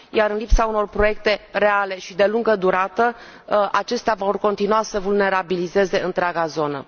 În lipsa unor proiecte reale și de lungă durată acestea vor continua să vulnerabilizeze întreaga zonă.